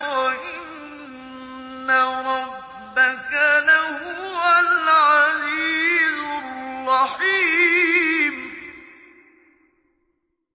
وَإِنَّ رَبَّكَ لَهُوَ الْعَزِيزُ الرَّحِيمُ